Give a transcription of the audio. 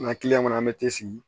N ka kɔnɔ an bɛ te sigi